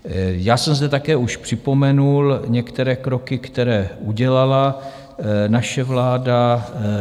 Já jsem zde také už připomenul některé kroky, které udělala naše vláda.